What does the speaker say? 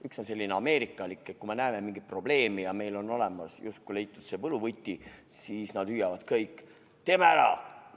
Üks on selline ameerikalik, et kui me näeme mingit probleemi ja meil on justkui leitud see võluvõti, siis nad hüüavad kõik: "Teeme ära!